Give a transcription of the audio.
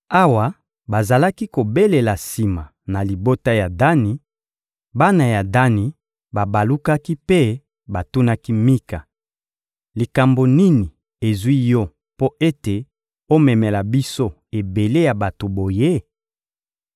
Awa bazalaki kobelela sima na libota ya Dani, bana ya Dani babalukaki mpe batunaki Mika: — Likambo nini ezwi yo mpo ete omemela biso ebele ya bato boye?